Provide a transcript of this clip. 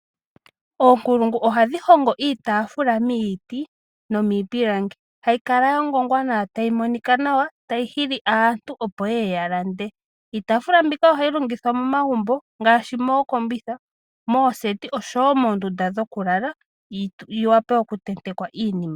Oonkulungu ohadhi hongo iitaafula miiti nomiipilangi. Hayi kala ya ngongwa nawa tayi monika nawa, tayi hili aantu opo ye ye ya lande. Iitaafula mbika ohayi longithwa momagumbo ngaashi mookombitha, mooseti osho wo moondunda dhokulala yi wape okutentekwa iinima.